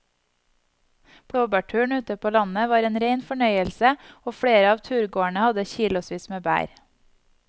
Blåbærturen ute på landet var en rein fornøyelse og flere av turgåerene hadde kilosvis med bær.